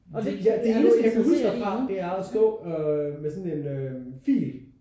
Ja det eneste jeg kan huske derfra det er at stå øh med sådan en øh fil